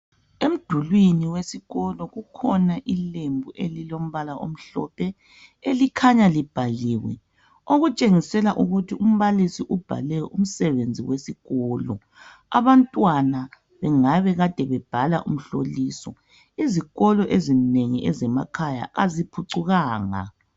Emdulwini wesikolo kukhona ilembu elilombala omhlophe elikhanya libhaliwe okutshengisela ukuthi umbalisi ubhale umsebenzi wesikolo. Abantwana bengabe bekade bebhala umhloliso Izikolo ezinengi ezemakhaya aziphucukanga.